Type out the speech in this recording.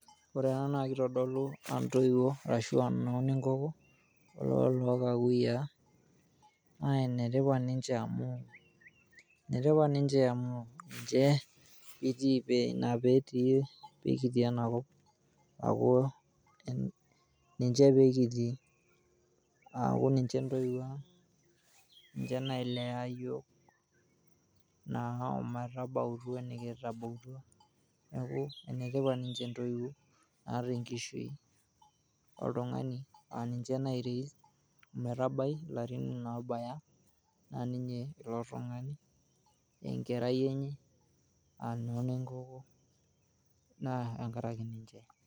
Ore ena naa kitodolu aa intoiwuo ashuaa inoo nenkoko olookakuyiaa . Naa ene tipat ninche amu ene tipat ninche amu ninche ,pekitii ena kop . Niaku ninche pekitii, aaku ninche ntoiwuo aang ,ninche nailea yiook naa ometabautua enikitabautua . Niaku ene tipat ninche intoiwuo.